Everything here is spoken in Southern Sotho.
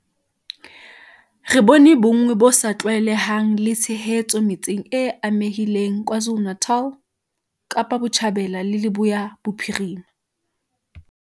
Re bone bonngwe bo sa tlwaelehang le tshehetso metseng e amehileng KwaZulu-Natal, Kapa Botjhabela le Leboya Bophirima.